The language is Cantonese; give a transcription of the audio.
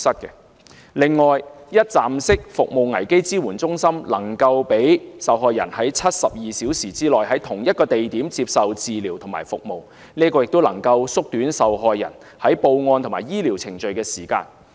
此外，一站式服務危機支援中心能夠讓受害人在72小時內，在同一地點接受治療和服務，這樣有助縮短受害人報案和醫療程序的時間。